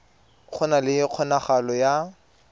go na le kgonagalo ya